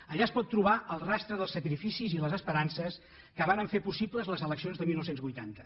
allà es pot trobar el rastre dels sacrificis i les esperances que varen fer possibles les eleccions de dinou vuitanta